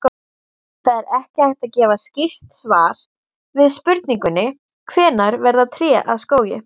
Það er ekki hægt að gefa skýrt svar við spurningunni hvenær verða tré að skógi.